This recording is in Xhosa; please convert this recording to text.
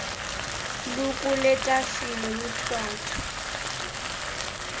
lukule tafile luthathwe